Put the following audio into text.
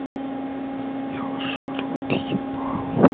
я ваш рот ебал